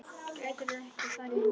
Gætirðu ekki farið í megrun?